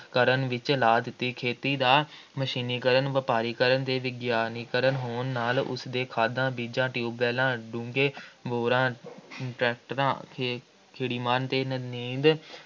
ਕਰਨ ਵਿੱਚ ਲਾ ਦਿੱਤੀ, ਖੇਤੀ ਦਾ ਮਸ਼ੀਨੀਕਰਨ, ਵਪਾਰੀਕਰਨ ਅਤੇ ਵਿਗਿਆਨੀਕਰਨ ਹੋਣ ਨਾਲ ਉਸ ਦੇ ਖਾਦਾਂ, ਬੀਜਾਂ, ਟਿਊਬਵੈੱਲਾਂ, ਡੂੰਘੇ ਬੋਰਾਂ ਟ੍ਰੈਕਟਰਾਂ, ਕੀੜੇਮਾਰ ਅਤੇ ਨਦੀਨ